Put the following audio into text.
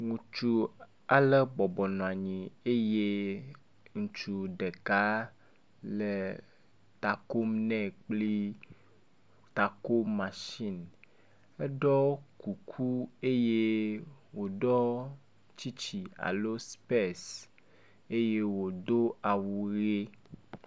Ŋutsu ale bɔbɔ nɔ anyi eye ŋutsu ɖeka le ta kom nɛ kple takomatsin, eɖɔ kuku eye wòɖɔ tsitsi alo spɛs eye wòdo awu ʋe.